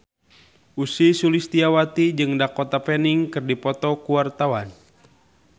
Ussy Sulistyawati jeung Dakota Fanning keur dipoto ku wartawan